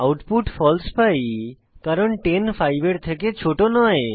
output ফালসে পাই কারণ 10 5 এর থেকে ছোট নয়